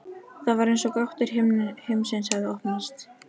Það var sem gáttir himinsins hefðu opnast.